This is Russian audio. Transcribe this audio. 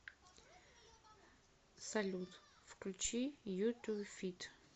салют включи ю ту фит